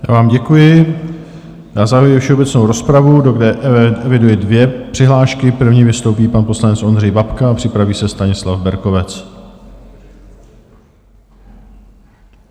Já vám děkuji a zahajuji všeobecnou rozpravu, do které eviduji dvě přihlášky - první vystoupí pan poslanec Ondřej Babka a připraví se Stanislav Berkovec.